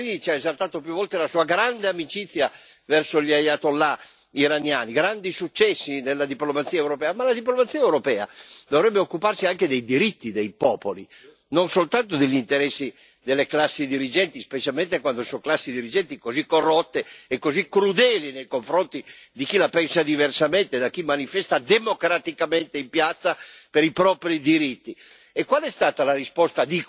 Ci avete esaltato, la signora Mogherini ci ha esaltato più volte la sua grande amicizia verso gli Ayatollah iraniani, i grandi successi della diplomazia europea, ma la diplomazia europea dovrebbe occuparsi anche dei diritti dei popoli, non soltanto degli interessi delle classi dirigenti, specialmente quando sono classi dirigenti così corrotte e così crudeli nei confronti di chi la pensa diversamente, di chi manifesta democraticamente in piazza per i propri diritti.